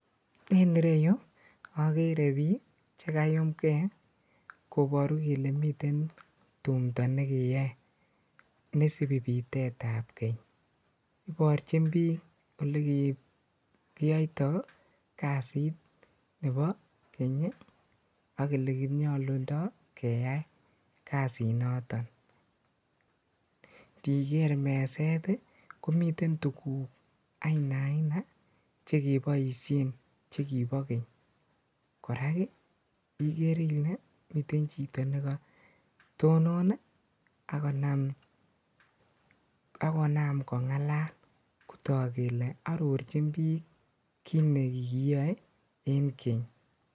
En ireyuu okeree biik chekayumng'e koboru kelee miten tumndo nekeyoe nesibi bitetab keny, iborchin biik olekikiyoito kasiit nebo keny ak elenyolundo keyai kasinoton, ndiker meset ii komiten tukuk ainaina chekeboishen chekibo keny, kora ikere ilee miten chito nekotonon ak konam kong'alal kotok kelee arorchin biik kiit nekoyoe en keny.